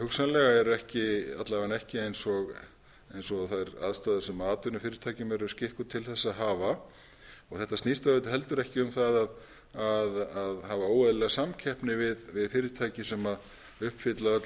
hugsanlega eru ekki alla vega ekki eins og þær aðstæður sem atvinnufyrirtækin eru skikkuð til að hafa þetta snýst auðvitað heldur ekki um að hafa óeðlileg samkeppni við fyrirtæki sem uppfylla öll